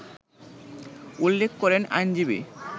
উল্লেখ করেন আইনজীবী